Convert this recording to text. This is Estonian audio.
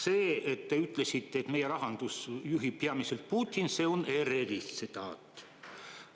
See, et te ütlesite, et meie rahandust juhib peamiselt Putin, on ERR-i tsitaat.